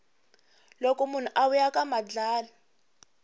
loko munhu a vuya ka madlala